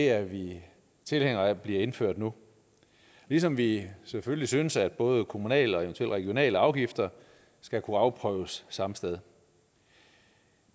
er vi tilhængere af bliver indført nu ligesom vi selvfølgelig synes at både kommunale og eventuelle regionale afgifter skal kunne afprøves samme sted